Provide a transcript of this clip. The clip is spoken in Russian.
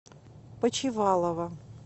почивалова